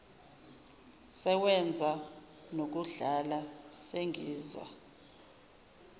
sewenza nokudlana sengizwa